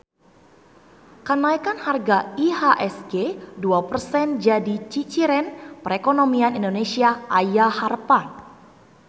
Kanaekan harga IHSG dua persen jadi ciciren perekonomian Indonesia aya harepan